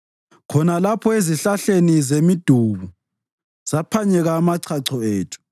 Khona lapho ezihlahleni zemidubu saphanyeka amachacho ethu,